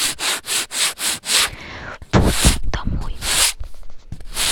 путь домой